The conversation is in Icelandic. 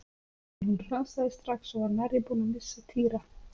En hún hrasaði strax og var nærri búin að missa Týra.